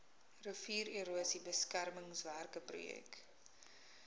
riviererosie beskermingswerke projek